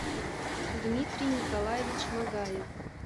дмитрий николевич магаев